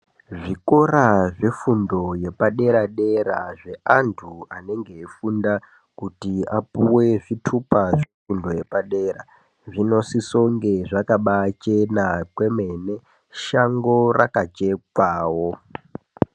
Zvikora zvefundo yepadera dera zveantu anenge eifunda kuti apuwe zvitupa zvefundo yepadera, zvinosisonge zvakabachena kwemene, shango rakachekwawo.